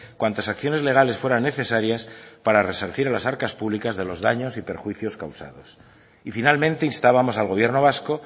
cuantas acciones legales fueran necesarias para resarcir a las arcas públicas de los daños y perjuicios causados y finalmente instábamos al gobierno vasco